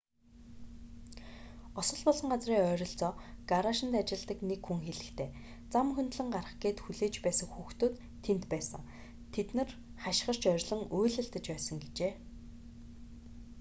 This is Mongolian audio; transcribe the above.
осол болсон газрын ойролцоо гараашид ажилладаг нэг хүн хэлэхдээ зам хөндлөн гарах гээд хүлээж байсан хүүхдүүд тэнд байсан тэд нар хашгирч орилон уйлалдаж байсан гэжээ